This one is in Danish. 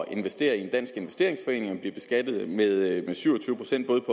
investere i en dansk investeringsforening og bliver beskattet med syv og tyve procent både